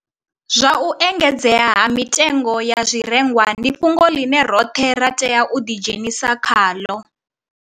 Zwa u engedzea ha mitengo ya zwirengwa ndi fhungo ḽine roṱhe ra tea u ḓidzhenisa khaḽo